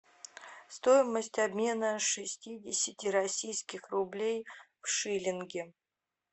стоимость обмена шестидесяти российских рублей в шиллинги